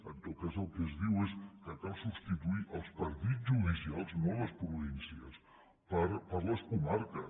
en tot cas el que es diu és que cal substituir els partits judicials no les províncies per les comarques